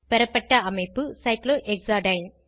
பெறப்பட்ட அமைப்பு சைக்ளோஹெக்சாடைன்